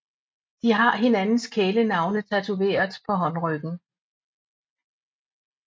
De har hinandens kælenavne tatoveret på håndryggen